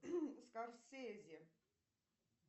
скорсезе